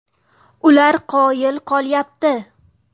Ular qoyil qolyapti.